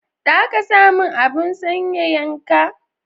Za ka san mun abun sanyayan ka?